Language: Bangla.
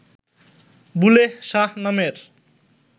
বুলেহ শাহ নামের